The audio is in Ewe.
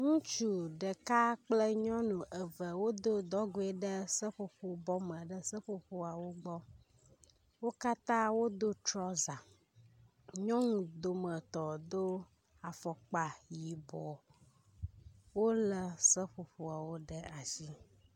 Ŋutsu ɖeka kple nyɔnu eve wodo dɔgoe ɖe seƒoƒo bɔ me ɖe seƒoƒoawo gbɔ. Wo katã wodo trɔzã. Nyɔnu dometɔ do afɔkpa yibɔ. Wolé seƒoƒoawo ɖe asi.